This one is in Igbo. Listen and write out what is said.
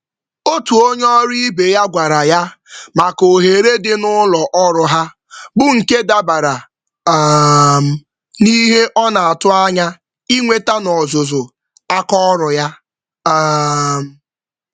Otú onyé ọrụ ibe ya gwara ya maka ohere dị n'ụlọ ọrụ ha, bú nke dabara um n'ihe ọnatụ̀ ányá ịnweta n'ọzụzụ àkà ọrụ ya um